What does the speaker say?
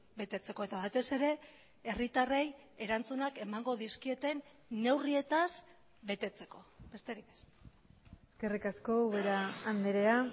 betetzeko eta batez ere herritarrei erantzunak emango dizkieten neurrietaz betetzeko besterik ez eskerrik asko ubera andrea